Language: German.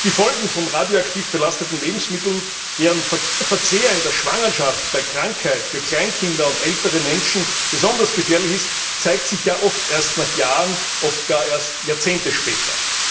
Die Folgen von radioaktiv belasteten Lebensmitteln, deren Verzehr in der Schwangerschaft, bei Krankheit, für Kleinkinder und ältere Menschen besonders gefährlich ist, zeigen sich ja oft erst nach Jahren, oft gar erst Jahrzehnte später.